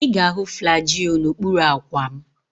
Ị ga-ahụ Flagyl n'okpuru akwa m.